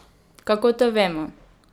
Kako to vemo?